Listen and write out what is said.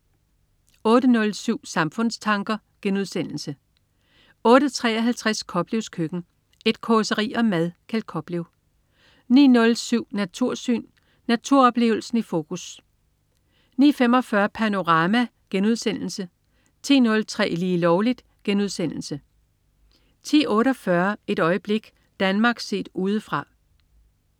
08.07 Samfundstanker* 08.53 Koplevs Køkken. Et causeri om mad. Kjeld Koplev 09.07 Natursyn. Naturoplevelsen i fokus 09.45 Panorama* 10.03 Lige Lovligt* 10.48 Et øjeblik. Danmark set udefra